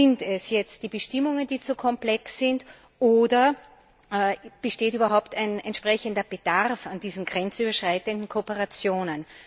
Sind es die Bestimmungen die zu komplex sind, oder besteht überhaupt ein entsprechender Bedarf an diesen grenzüberschreitenden Kooperationen?